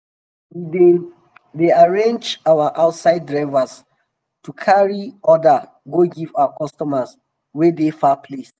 we dey dey um arrange with outside drivers to carry um order go give our customers wey dey far place.